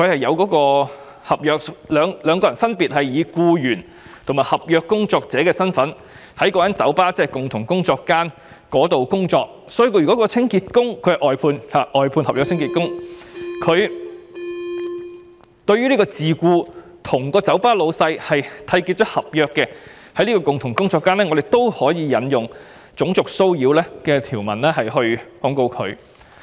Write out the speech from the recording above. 由於兩人分別以"僱員"和"合約工作者"的身份在該酒吧——即共同工作間——工作，所以該名外判清潔工人對這名已跟酒吧東主締結合約的自僱樂師作出騷擾，由於是在共同工作間，故可以援引種族騷擾的條文控告他。